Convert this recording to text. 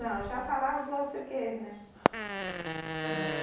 Não, já falavam português, né.